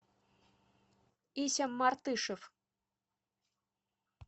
ися мартышев